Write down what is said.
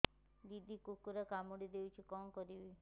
ଦିଦି କୁକୁର କାମୁଡି ଦେଇଛି କଣ କରିବି